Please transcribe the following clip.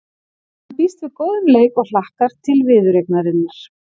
Hann býst við góðum leik og hlakkar til viðureignarinnar.